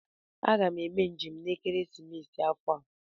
Aga m eme njem n'ekeresimesi afọ a